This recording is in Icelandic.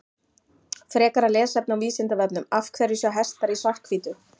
Frekara lesefni á Vísindavefnum Af hverju sjá hestar í svart-hvítu?